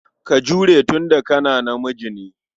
Ka jure tun da ka namiji ne.